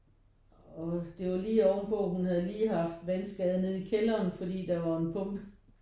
Og det var lige ovenpå hun havde lige haft vandskade nede i kælderen fordi der var en pumpe